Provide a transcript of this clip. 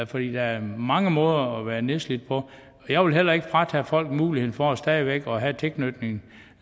for der er mange måder at være nedslidt på jeg vil heller ikke fratage folk muligheden for stadig væk at have tilknytning